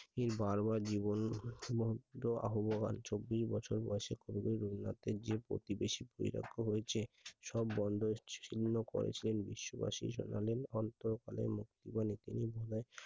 এই বার বার জীবন অভয়া চব্বিশ বছর বয়সে যে প্রতিবেশী বৈরাগ্য হয়েছে সব বন্ধন ছিন্ন করেছিলেন বিশ্ববাসী শোনালেন অন্তকালীন